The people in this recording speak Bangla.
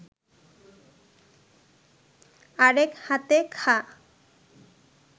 আরেক হাতে খা